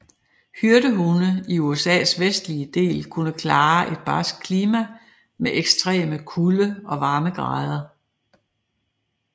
Hyrdehunde i USAs vestlige del kunne klare et barskt klima med ekstreme kulde og varmegrader